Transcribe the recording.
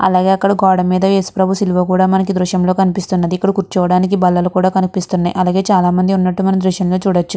అలాగే అక్కడ గోడ మీద ఏసుప్రభు సిలువ కూడా ఈ దృశ్యంలో కనిపిస్తుంది. ఇక్కడ కూర్చోడానికి బల్లలు కూడా కనిపిస్తున్నాయి. అలాగే చాలామంది ఉన్నట్టు మనము ఈ దృశ్యం లో చూడొచ్చు.